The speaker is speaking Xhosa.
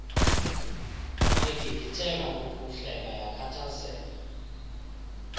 begigitheka kukuhleka yakhathazeka